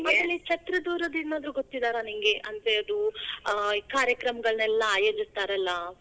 ಛತ್ರದೋರದು ಏನಾದ್ರೂ ಗೊತ್ತಿದಾರಾ ನಿಂಗೆ, ಅಂದ್ರೆ ಅದು ಆ ಈ ಕಾರ್ಯಕ್ರಮ ಎಲ್ಲಾ ಆಯೋಜಿಸ್ತಾರಲಾ.